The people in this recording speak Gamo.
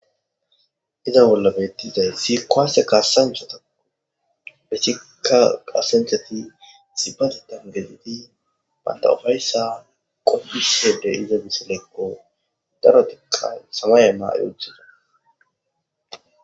iza bolla bettizay isi kuwase kaasanchatao hessika kaasanchati isibbatetan gedidi banta ufayssa qopishe de'iza misilekko darotikka samaye mayi utida